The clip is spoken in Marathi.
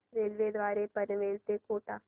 रेल्वे द्वारे पनवेल ते कोटा